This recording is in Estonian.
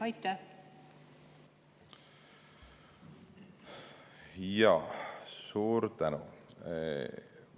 Jaa, suur tänu!